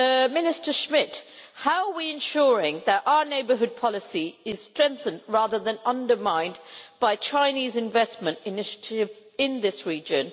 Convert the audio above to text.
Minister Schmit, how are we ensuring that our neighbourhood policy is strengthened rather than undermined by Chinese investment initiatives in this region?